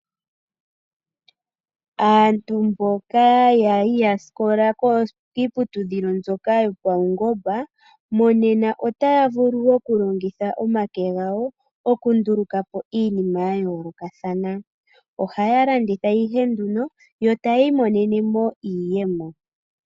Aantu mboka yali ya sikola kiiputudhilo mbyoka yopaungomba monena otaya vulu okulongitha omake gawo, okunduluka po iinima ya yoolokathana. Ohaya landitha ihe nduno, yo tayi imonene mo iiyemo.